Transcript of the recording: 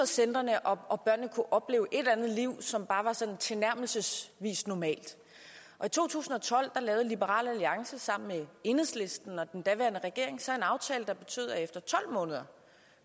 centrene og og børnene kunne opleve et eller andet liv som bare var sådan tilnærmelsesvis normalt og i to tusind og tolv lavede liberal alliance sammen med enhedslisten og den daværende regering så en aftale der betød at efter tolv måneder